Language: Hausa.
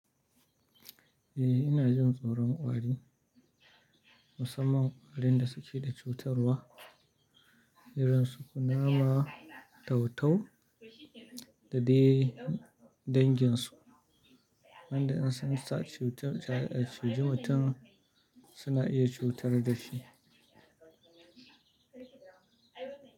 Eh, ina jin tsoron ƙwari. Musamman ƙwarin da suke da cutarwa, irin su kunama, tau tau da dai danginsu. Wanda in sun sa cutar su ciji mutum, suna iya cutar da shi.